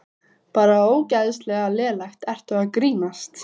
Bara ógeðslega lélegt, ertu að grínast?